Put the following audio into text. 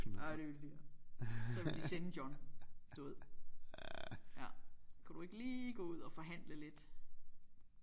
Ej det ville de så ville de sende John du ved ja kunne du ikke lige gå ud og forhandle lidt